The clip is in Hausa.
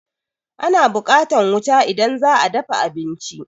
Ana buƙatan wuta idan za a dafa abinci.